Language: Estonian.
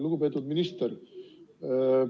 Lugupeetud minister!